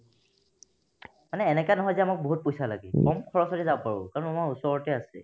মানে এনেকা নহয় যে আমাক বহুত পইচা লাগে কম খৰচতে যাব পাৰো কাৰণ আমাৰ ওচৰতে আছে